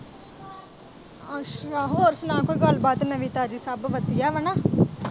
ਅੱਛਾ ਹੋਰ ਸੁਣਾ ਕੋਈ ਗੱਲਬਾਤ ਨਵੀਂ ਤਾਜ਼ੀ ਸਭ ਵਧੀਆ ਵਾਂ ਨਾ।